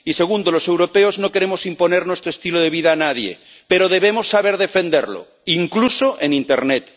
Y, segundo, los europeos no queremos imponer nuestro estilo de vida a nadie, pero debemos saber defenderlo, incluso en internet.